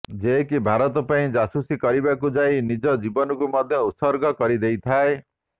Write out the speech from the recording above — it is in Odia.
ଯିଏକି ଭାରତ ପାଇଁ ଜାସୁସି କରିବାକୁ ଯାଇ ନିଜ ଜୀବନକୁ ମଧ୍ୟ ଉତ୍ସର୍ଗ କରି ଦେଇଥାଏ